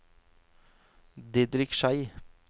Didrik Schei